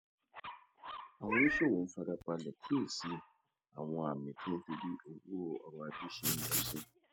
àwọn oníṣòwò ń fara balè kíyè sí àwọn àmì tó ń fi bí ọrò ajé ṣe ń lọ sí